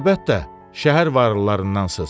Əlbəttə, şəhər varlılarındansız.